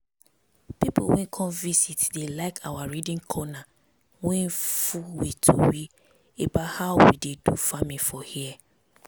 pipu wey come visit dey like our reading corner wey full with tori about how we dey do farming for here.